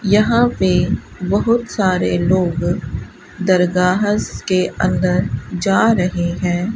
यहां पे बहुत सारे लोग दरगाहस के अंदर जा रहे हैं।